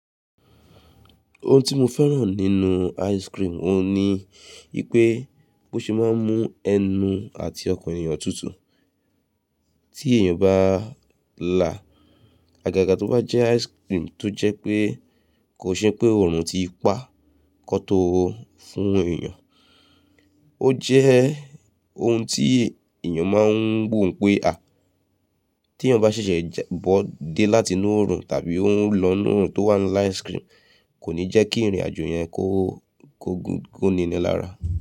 Ohun tí mo fẹ́ràn nínú ice cream, òun ni wípé bi ó ṣe é máa ń mú ẹnu àti ọkàn èyàn tútù. Tí èyàn bá là, àgàgà tó bá jẹ́ ice cream tó jẹ́ pé kò ṣe pé ọrùn ti pá kó tó fún èyàn. Ó jẹ́ ohun tí èyàn máa ń gbóhun pé à, tí eeyan ba ṣẹ̀ṣẹ̀ bọ́ dé láti inú ọrùn tàbí ó ń lọ nínú òrùn tó wà la ice cream, kò ní jẹ́ kí ìrìn àjò yẹn kó gúnni níni ara.